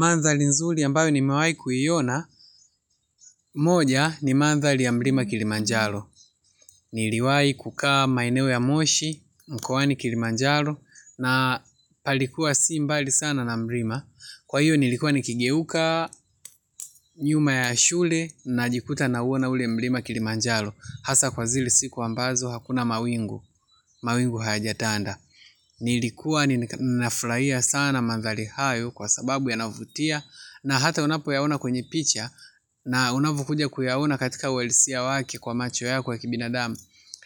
Mandhali nzuli ambayo ni mewai kuiona, moja ni mandhali ya mrima kilimanjalo. Niliwai kukaa maineo ya moshi, mkoani kilimanjalo, na palikuwa si mbali sana na mrima. Kwa hiyo nilikuwa nikigeuka nyuma ya shule na jikuta na uona ule mrima kilimanjalo. Hasa kwa zile siku ambazo hakuna mawingu, mawingu hajatanda. Nilikuwa ninafuraia sana mandhali hayo kwa sababu yanavutia, na hata unapo yaona kwenye picha na unavukuja kuyaona katika uhalisia wake kwa macho ya kwa kibina damu